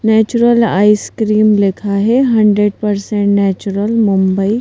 natural ice cream लिखा है hundred percent natural Mumbai --